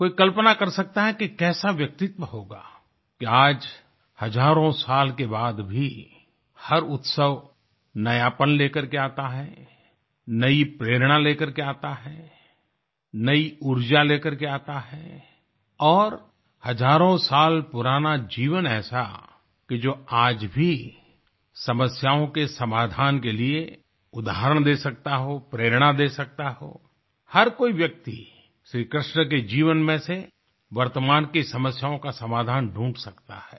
कोई कल्पना कर सकता है कि कैसा व्यक्तित्व होगा कि आज हजारों साल के बाद भी हर उत्सव नयापन लेकर के आता है नयी प्रेरणा लेकर के आता है नयी ऊर्जा लेकर के आता है और हजारों साल पुराना जीवन ऐसा कि जो आज भी समस्याओं के समाधान के लिए उदाहरण दे सकता हो प्रेरणा दे सकता हो हर कोई व्यक्ति श्री कृष्ण के जीवन में से वर्तमान की समस्याओं का समाधान ढूंढ सकता है